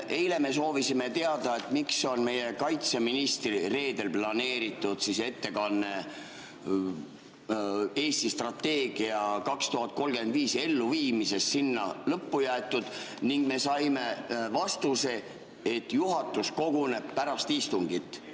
Eile me soovisime teada, miks on meie kaitseministri planeeritud ettekanne strateegia "Eesti 2035" elluviimisest lõppu jäetud, ning me saime vastuse, et juhatus koguneb pärast istungit.